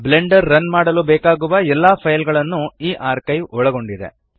Blender run ಮಾಡಲು ಬೇಕಾಗುವ ಎಲ್ಲ ಫೈಲ್ ಗಳನ್ನು ಈ ಆರ್ಕೈವ್ ಒಳಗೊಂಡಿದೆ